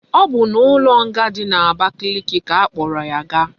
O bu na ulo nga di na abakeleke ka akporo ya gaa